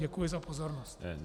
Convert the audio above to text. Děkuji za pozornost.